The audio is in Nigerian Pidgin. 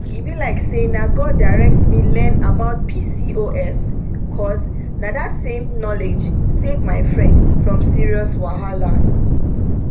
e be like say na god direct me learn about pcos cause na that same knowledge save my friend from serious wahala.